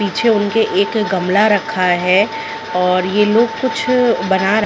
पीछे उनके एक गमला रखा है और ये लोग कुछ बना रहे है।